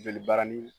Joli barani